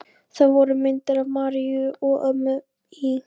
Þar voru myndir af Maríu og mömmu í